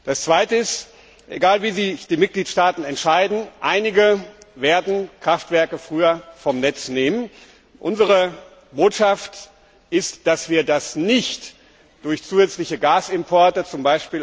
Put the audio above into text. Das zweite ist Egal, wie sich die Mitgliedstaaten entscheiden einige werden Kraftwerke früher vom Netz nehmen unsere Botschaft ist, dass wir das nicht durch zusätzliche Gasimporte, z.